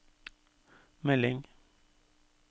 melding